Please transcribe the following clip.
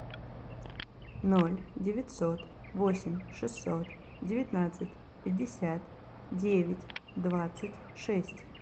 ноль девятьсот восемь шестьсот девятнадцать пятьдесят девять двадцать шесть